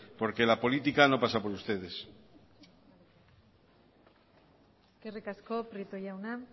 porque la política no pasa por ustedes eskerrik asko prieto jauna